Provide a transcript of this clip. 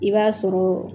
I b'a sɔrɔ